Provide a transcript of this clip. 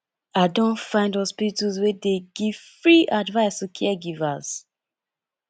i don find hospitals wey dey give free advice to caregivers